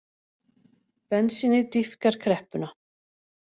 Bensínið dýpkar kreppuna